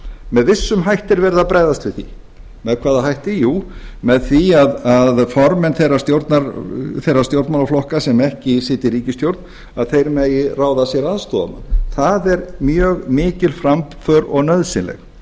með vissum hætti er verið að bregðast við því með hvaða hætti jú með því að formenn þeirra stjórnmálaflokka sem ekki sitja í ríkisstjórn megi ráða sér aðstoðarmann það er mjög mikil framför og nauðsynleg